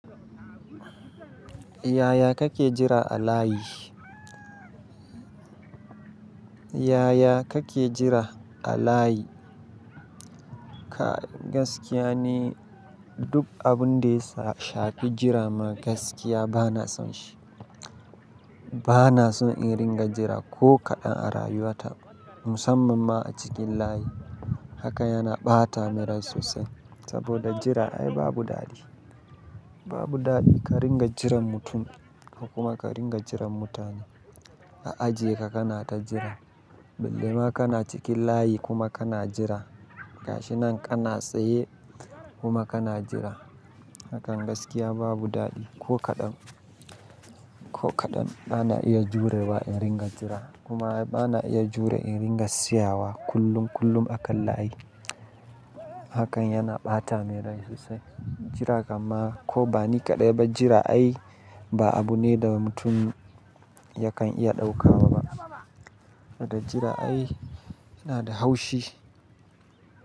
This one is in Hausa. Yaya kake jira a layi? Yaya kake jira a layi? Kai gaskiya ni, duk abun da ya shafi jira ma gaskiya bana son shi. Bana son in ringa jira ko kaɗan a rayuwa ta, musamman ma a cikin layi. Haka yana ɓata min rai sosai saboda jira ai babu daɗi. Babu daɗi ka ringa jiran mutum, kuma ka ringa jiran mutane. A aji ka kana ta jira, bille ma kana cikin layi kuma kana jira, gashi nan kana tsaye kuma kana jira. Hakan gaskiya babu daɗi ko kaɗan, ko kaɗan bana iya jurewa in ringa jira. Kuma ai bana iya jure in ringa tsayawa kullum kullum a kan layi. Hakan yana ɓata min rai sosai. Jira gama ko ba ni kaɗai ba jira ai ba abu ne da mutum yakan iya ɗauka. Saboda jira ai yana da haushi.